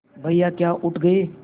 भैया क्या उठ गये